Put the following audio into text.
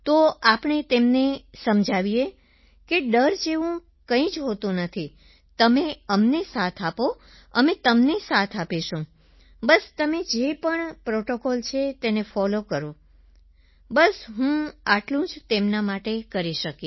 તો આપણે તેમને સમજાવીએ સર કે ડર જેવું કંઈ નથી હોતું તમે અમને સાથ આપો અમે તમને સાથ આપીશું બસ તમે જે પણ પ્રોટોકોલ્સ છે તેને ફોલો કરો બસ હું આટલું જ તેમના માટે કરી શકી